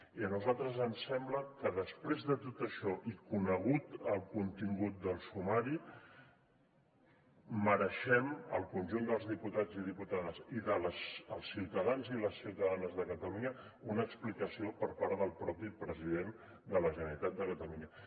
i a nosaltres ens sembla que després de tot això i conegut el contingut del sumari mereixem el conjunt dels diputats i diputades i dels ciutadans i les ciutadanes de catalunya una explicació per part del mateix president de la generalitat de catalunya